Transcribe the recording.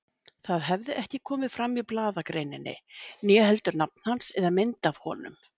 Það hafði ekki komið fram í blaðagreininni, né heldur nafn hans eða mynd af honum.